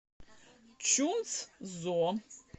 чунцзо